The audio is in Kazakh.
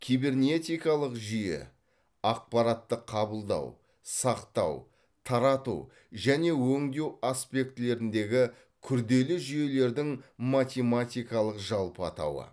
кибернеткалық жүйе ақпаратты қабылдау сақтау тарату және өңдеу аспектілеріндегі күрделі жүйелердің математикалық жалпы атауы